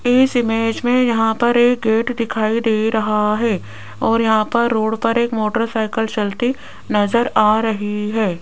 इस इमेज में यहां पर एक गेट दिखाई दे रहा है और यहां पर रोड पर एक मोटरसाइकल चलती नजर आ रही है।